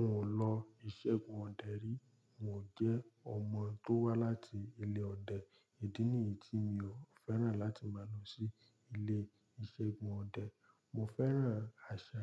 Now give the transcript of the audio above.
N ò lọ ìṣẹ́gun ọdẹ rí. N ò jẹ́ ọmọ tó wá láti ilé ọdẹ. Idí nìyí tí mi ò fẹ́ràn láti máa lọ sí ilé ìṣẹ́gun ọdẹ. Mo fẹ́ràn àṣà